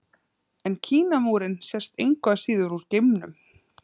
En Kínamúrinn sést engu að síður úr geimnum.